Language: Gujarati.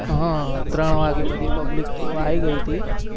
હા ત્રણ વાગે બધી public તો આઈ ગઈ હતી